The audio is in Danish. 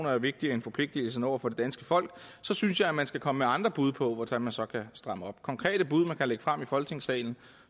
er vigtigere end forpligtelserne over for det danske folk synes jeg man skal komme med andre bud på hvordan man så kan stramme op konkrete bud som man kan lægge frem i folketingssalen